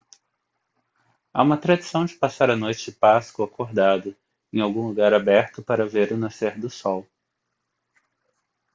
há uma tradição de passar a noite de páscoa acordado em algum lugar aberto para ver o nascer do sol